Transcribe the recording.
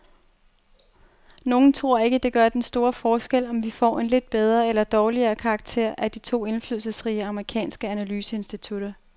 Nogle tror ikke, det gør den store forskel, om vi får en lidt bedre eller dårligere karakter af de to indflydelsesrige amerikanske analyseinstitutter.